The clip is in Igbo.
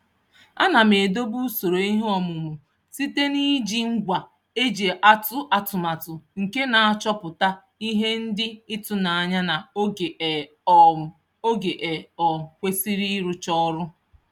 Ana m edobe usoro ihe ọmụmụ site n'iji ngwa e ji atụ atụmatụ nke na-achọpụta ihe dị ịtụnanya na oge e um oge e um kwesịrị ịrụcha ọrụ.